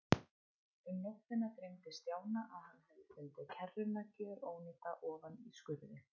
Um nóttina dreymdi Stjána að hann hefði fundið kerruna gjörónýta ofan í skurði.